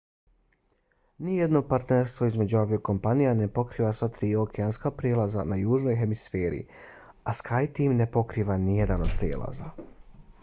nijedno partnerstvo između aviokompanija ne pokriva sva tri okeanska prijelaza na južnoj hemisferi a skyteam ne pokriva ni jedan od prijelaza